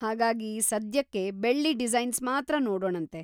ಹಾಗಾಗಿ ಸದ್ಯಕ್ಕೆ ಬೆಳ್ಳಿ ಡಿಸೈನ್ಸ್ ಮಾತ್ರ ನೋಡೋಣಂತೆ.